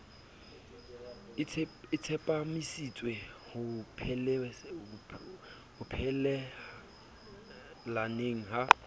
a tsepamisitswe ho phelelaneng ha